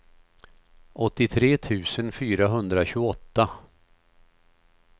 åttiotre tusen fyrahundratjugoåtta